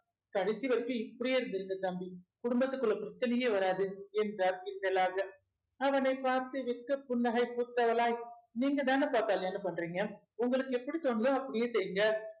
கடைசி வரைக்கும் இப்படியே இருந்திருங்க தம்பி குடும்பத்துக்குள்ள பிரச்சனையே வராது என்றார் கிண்டலாக அவனைப் பார்த்து வெக்க புன்னகை பூத்தவளாய் நீங்கதானப்பா கல்யாணம் பண்றீங்க உங்களுக்கு எப்படி தோணுதோ அப்படியே செய்ங்க